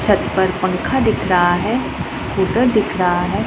छत पर पंखा दिख रहा है स्कूटर दिख रहा है।